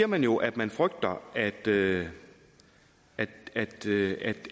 man jo at man frygter at det at det